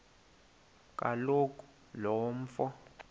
kaloku lo mfo